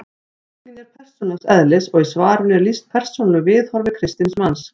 Spurningin er persónulegs eðlis og í svarinu er lýst persónulegu viðhorfi kristins manns.